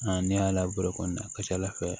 ne y'a labalo kɔni a ka ca ala fɛ